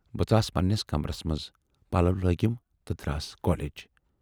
بہٕ ژاس پَنہٕ نِس کمرس مَنز، پَلو لٲگِم تہٕ دراس کالیج۔